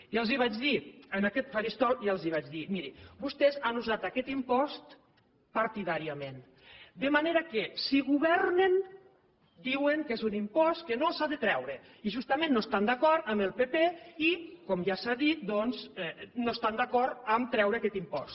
ja els vaig dir en aquest faristol ja els vaig dir miri vostès han usat aquest impost partidàriament de manera que si governen diuen que és un impost que no s’ha de treure i justament no estan d’acord amb el pp i com ja s’ha dit doncs no estan d’acord a treure aquest impost